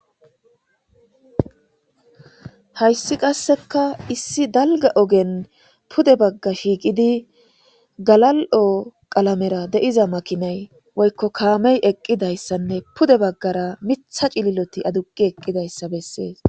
Hayssi qasseka issi dalga ogen pude bagga shiiqidi galal'o qalamera deiza makinay woykko kaamey eqqidayssanne pude baggara mitha cililoti aduqi eqqidayssa bessees